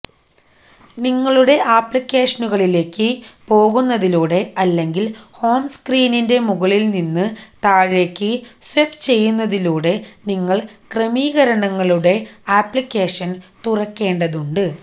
നിങ്ങളുടെ ആപ്ലിക്കേഷനുകളിലേക്ക് പോകുന്നതിലൂടെ അല്ലെങ്കിൽ ഹോം സ്ക്രീനിന്റെ മുകളിൽ നിന്ന് താഴേയ്ക്ക് സ്വൈപ്പുചെയ്യുന്നതിലൂടെ നിങ്ങൾ ക്രമീകരണങ്ങളുടെ അപ്ലിക്കേഷൻ തുറക്കേണ്ടതുണ്ട്